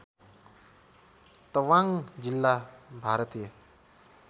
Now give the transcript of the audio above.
तवाङ्ग जिल्ला भारतीय